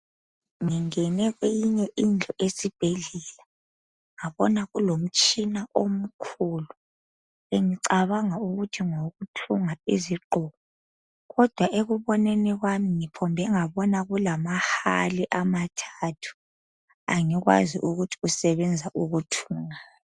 Ngingena kweyinye indlu esibhedlela ngabona kulomtshina omkhulu engicabanga ukuthi ngowokuthunga izigqoko kodwa ekuboneni kwami ngiphinde ngabona kulamahali amathathu angikwazi ukuthi asebenza ukuthungani